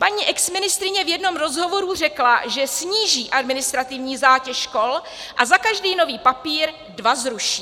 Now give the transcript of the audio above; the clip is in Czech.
Paní exministryně v jednom rozhovoru řekla, že sníží administrativní zátěž škol a za každý nový papír dva zruší.